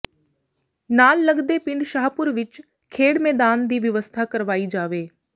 ਨਾਲ ਲੱਗਦੇ ਪਿੰਡ ਸ਼ਾਹਪੁਰ ਵਿੱਚ ਖੇਡ ਮੈਦਾਨ ਦੀ ਵਿਵਸਥਾ ਕਰਵਾਈ ਜਾਵੇ